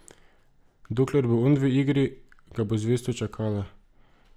Dokler bo on v igri, ga bo zvesto čakala.